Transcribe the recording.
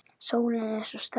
Sólin er svo sterk.